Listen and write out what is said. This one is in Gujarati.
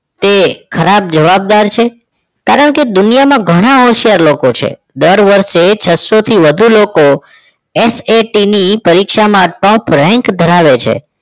તે ખરાબ જવાબદાર છે કારણ કે દુનિયામાં ઘણા હોશિયાર લોકો છે દર વર્ષે છ સો થી વધુ લોક SST ની પરીક્ષા માં top rank ધરાવે છે